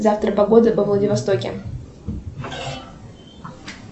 завтра погода во владивостоке